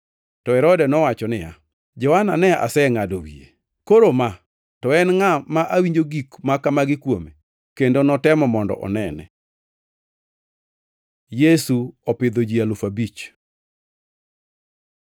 To Herode nowacho niya, “Johana ne asengʼado wiye, koro ma, to en ngʼa ma awinjo gik ma kamagi kuome?” Kendo notemo mondo onene. Yesu opidho ji alufu abich